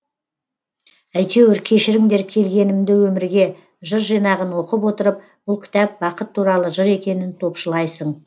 әйтеуір кешіріңдер келгенімді өмірге жыр жинағын оқып отырып бұл кітап бақыт туралы жыр екенін топшылайсың